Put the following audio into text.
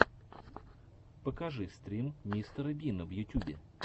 покажи стрим мистера бина в ютюбе